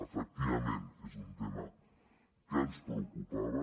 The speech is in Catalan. efectivament és un tema que ens preocupava